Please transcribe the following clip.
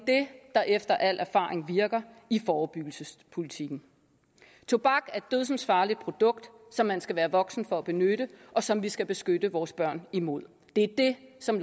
der efter al erfaring virker i forebyggelsespolitikken tobak er et dødsensfarligt produkt som man skal være voksen for at benytte og som vi skal beskytte vores børn imod det er det som